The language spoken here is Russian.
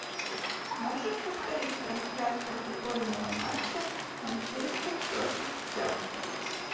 можешь повторить трансляцию футбольного матча манчестер против челси